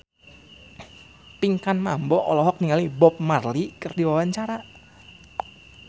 Pinkan Mambo olohok ningali Bob Marley keur diwawancara